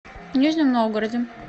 нижнем новгороде